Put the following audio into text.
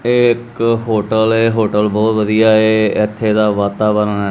ਇਹ ਇੱਕ ਹੋਟਲ ਹੈ ਹੋਟਲ ਬਹੁਤ ਵਧੀਆ ਏ ਇਥੇ ਦਾ ਵਾਤਾਵਰਨ--